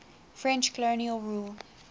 french colonial rule